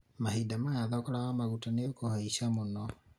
mahĩnda maya thogora wa maguta nĩ ũkũhaica mũno